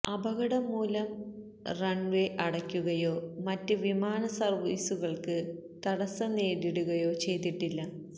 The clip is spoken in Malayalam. അപകടം മൂലം റണ്വേ അടക്കുകയോ മറ്റ് വിമാന സര്വ്വീസുകള്ക്ക് തടസ്സം നേരിടുകയോ ചെയ്തിട്ടില്ല